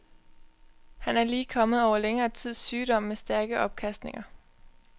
Han er lige kommet over længere tids sygdom med stærke opkastninger.